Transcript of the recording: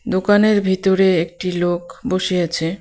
দোকানের ভিতরে একটি লোক বসে আছে.